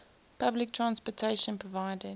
public transportation provided